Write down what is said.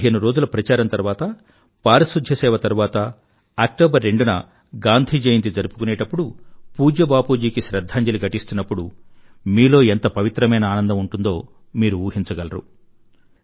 పదిహేను రోజుల ప్రచారం తరువాత పారిశుధ్య సేవ తరువాత అక్టోబర్ రెండున గాంధీ జయంతి జరుపుకునేప్పుడు పూజ్య బాపూజీ కి శ్రధ్ధాంజలి ఘటిస్తున్నప్పుడు మీలో ఎంత పవిత్రమైన ఆనందం ఉంటుందో మీరు ఊహించగలరు